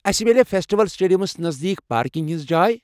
اسہِ مِیلیا فیسٹیول سٹیڈیمَس نزدیٖک پارکنگ ہِنٛز جاۓ؟